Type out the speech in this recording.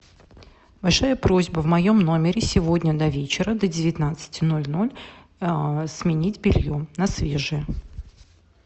большая просьба в моем номере сегодня до вечера до девятнадцати ноль ноль сменить белье на свежее